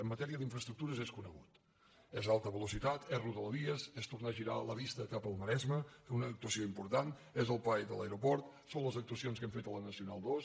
en matèria d’infraestructures és conegut és alta velo·citat és rodalies és tornar a girar la vista cap al ma·resme fer una actuació important és el paet de l’ae·roport són les actuacions que hem fet a la nacional ii